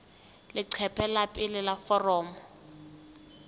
leqephe la pele la foromo